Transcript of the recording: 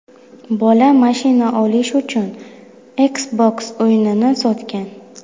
Bola mashina olish uchun Xbox o‘yinini sotgan.